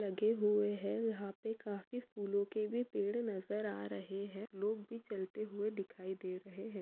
लगे हुए है यहाँ पे काफी फुल के भी पेड नजर आ रहे है लोग भी चलते हुए दिखाई दे रहे है।